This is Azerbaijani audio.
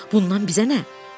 Bundan bizə nə?